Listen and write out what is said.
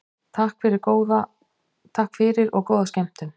Takk fyrir og góða skemmtun.